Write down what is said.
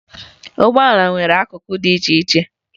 Ụgbọala nwere akụkụ dị iche iche